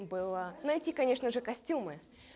и было найти конечно же костюмы